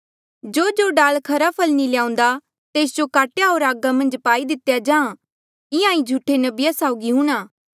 जोजो डाल खरा फल नी ल्याऊन्दा तेस जो काट्या होर आगा मन्झा पाई दितेया जाहाँ इंहां ही झूठे नबिया साउगी हूंणा